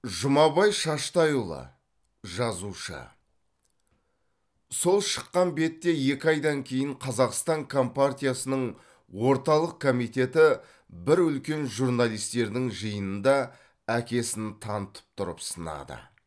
жұмабай шаштайұлы жазушы сол шыққан бетте екі айдан кейін қазақстан компартиясының орталық комитеті бір үлкен журналистердің жиынында әкесін танытып тұрып сынады